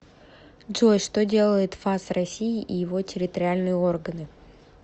джой что делает фас россии и его территориальные органы